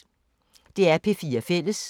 DR P4 Fælles